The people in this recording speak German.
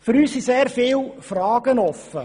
Für uns sind sehr viele Fragen offen.